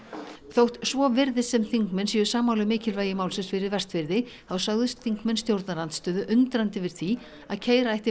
þótt svo virðist sem þingmenn séu sammála um mikilvægi málsins fyrir Vestfirði þá sögðust þingmenn stjórnarandstöðu undrandi yfir því að keyra ætti